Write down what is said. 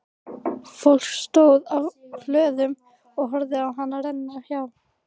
Fólk stóð á hlöðum og horfði á hana renna hjá.